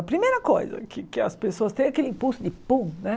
A primeira coisa que que as pessoas têm é aquele impulso de pum, né?